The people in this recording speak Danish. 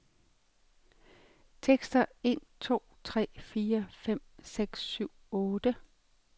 Tester en to tre fire fem seks syv otte.